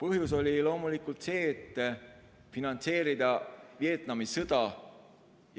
Põhjus oli loomulikult see, et finantseerida Vietnami sõda